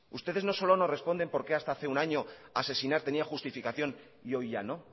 ustedes no solo no responden por qué hasta hace un año asesinar tenía justificación y hoy ya no